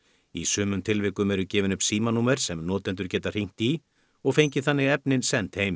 í sumum tilvikum eru gefin upp símanúmer sem notendur geta hringt í og fengið þannig efnin send heim